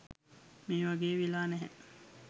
මේ වගේ වෙලා නැහැ.